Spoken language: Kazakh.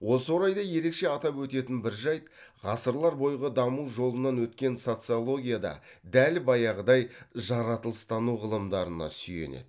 осы орайда ерекше атап өтетін бір жәйт ғасырлар бойғы даму жолынан өткен социология да дәл баяғыдай жаратылыстану ғылымдарына сүйенеді